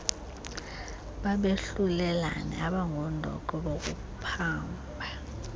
babehlulelani abangundoqo bokuphamba